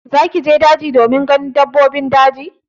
Zaki je daji domin ganin dabbobin daji?